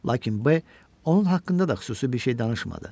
Lakin B onun haqqında da xüsusi bir şey danışmadı.